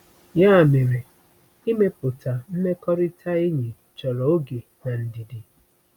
Ya mere, ịmepụta mmekọrịta enyi chọrọ oge na ndidi.